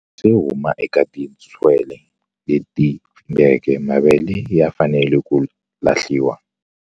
Yo huma eka tintswele leti pfimbeke mavele ya fanele ku lahliwa.